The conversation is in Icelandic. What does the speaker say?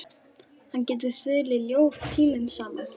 Hann getur þulið ljóð tímunum saman.